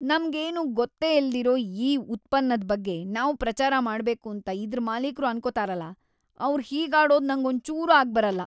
ನಮ್ಗೇನೂ ಗೊತ್ತೇ ಇಲ್ದಿರೋ ಈ ಉತ್ಪನ್ನದ್ ಬಗ್ಗೆ ನಾವ್ ಪ್ರಚಾರ ಮಾಡ್ಬೇಕೂಂತ ಇದ್ರ್ ಮಾಲೀಕ್ರು ಅನ್ಕೊತಾರಲ, ಅವ್ರ್‌ ಹೀಗಾಡೋದು ನಂಗೊಂಚೂರೂ ಆಗ್ಬರಲ್ಲ.